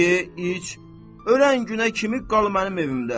Ye, iç, ölən günə kimi qal mənim evimdə.